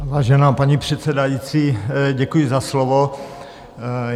Vážená paní předsedající, děkuji za slovo.